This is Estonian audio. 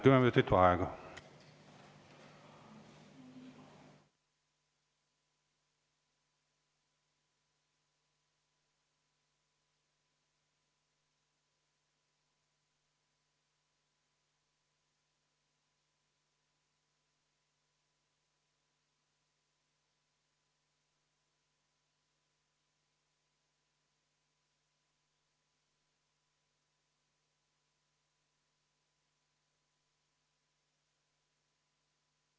Kümme minutit vaheaega.